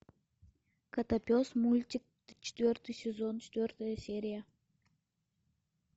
котопес мультик четвертый сезон четвертая серия